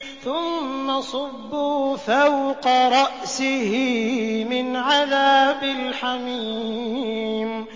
ثُمَّ صُبُّوا فَوْقَ رَأْسِهِ مِنْ عَذَابِ الْحَمِيمِ